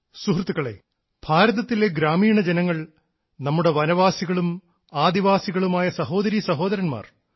സുഹൃത്തുക്കളേ ഭാരതത്തിലെ ഗ്രാമീണ ജനങ്ങൾ നമ്മുടെ വനവാസികളും ആദിവാസികളുമായ സഹോദരീ സഹോദരന്മാർ